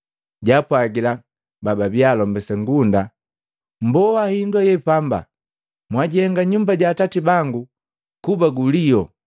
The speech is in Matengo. jaapwajila bababia alombesa ngunda, “Mmboa hindu aye pamba. Mwajihenga nyumba ja Atati bangu kuba guliu!”